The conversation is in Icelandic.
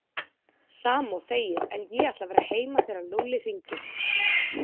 Sama og þegið en ég ætla að vera heima þegar Lúlli hringir